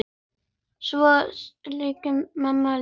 Svo kvaddi mamma líka.